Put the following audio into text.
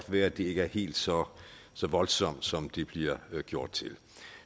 være at det ikke er helt så så voldsomt som det bliver gjort til